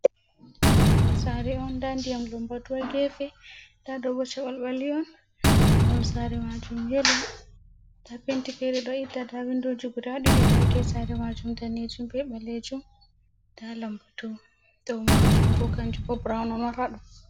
Ɗo sare on. Nda ndiyam lambatu ha gefe. Nda ɗo bo caɓalɓali on, mahol sare majum yelo. Nda penti fere ɗo itta, nada windoji guda ɗiɗi. da get sare maajum daneejum be ɓaleejum. Nda lambatu, dou maajum bo kanjum bo brawn on.